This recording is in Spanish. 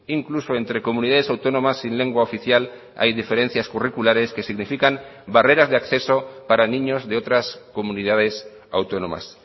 incluso entre comunidades autónomas sin lengua oficial hay diferencias curriculares que significan barreras de acceso para niños de otras comunidades autónomas